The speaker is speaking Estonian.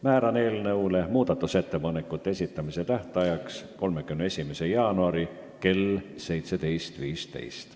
Määran eelnõu muudatusettepanekute esitamise tähtajaks 31. jaanuari kell 17.15.